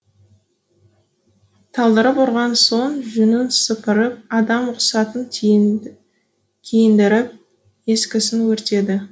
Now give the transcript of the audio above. талдырып ұрған соң жүнін сыпырып адам құсатып киіндіріп ескісін өртеді